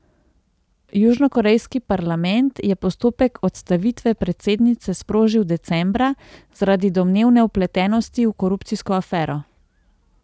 Južnokorejski parlament je postopek odstavitve predsednice sprožil decembra zaradi domnevne vpletenosti v korupcijsko afero.